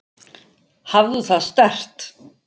Hafðu það sterkt.